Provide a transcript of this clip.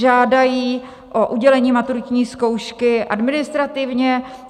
Žádají o udělení maturitní zkoušky administrativně.